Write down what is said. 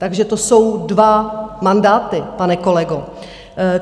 Takže to jsou dva mandáty, pane kolego.